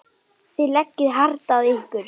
Þið leggið hart að ykkur.